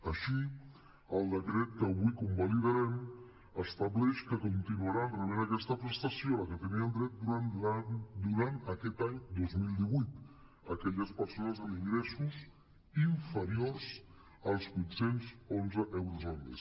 així el decret que avui conva·lidarem estableix que continuaran rebent aquesta prestació a què tenien dret durant aquest any dos mil divuit aquelles persones amb ingressos inferiors als vuit·cents onze euros al mes